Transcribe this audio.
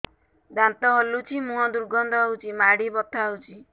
ଦାନ୍ତ ହଲୁଛି ମୁହଁ ଦୁର୍ଗନ୍ଧ ହଉଚି ମାଢି ବଥା ହଉଚି